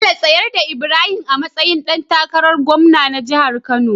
Bello tsayar da Ibrahim a matsayin da takarar gwamna na jahar kano